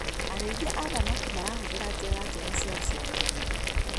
Arĩithia a thamaki marahũthĩra njĩra njega cia ũciarithania.